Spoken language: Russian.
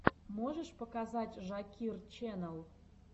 можешь показать жакир ченэл